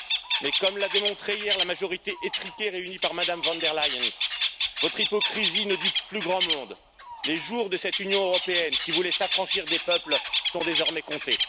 Mais, comme l'a démontré hier la majorité étriquée réunie par Mme von der Leyen, votre hypocrisie ne dupe plus grand monde, les jours de cette Union européenne qui voulait s'affranchir des peuples sont désormais comptés.